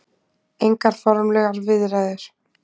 Engar formlegar viðræður.